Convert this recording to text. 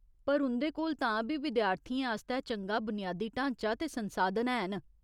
पर उं'दे कोल तां बी विद्यार्थियें आस्तै चंगा बुनियादी ढांचा ते संसाधन हैन।